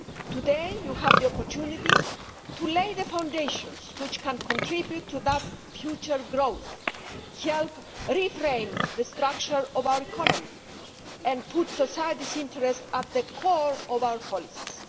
Today, you have the opportunity to lay the foundations which can contribute to that future growth, help reframe the structure of our economy, and put society's interests at the core of our policies.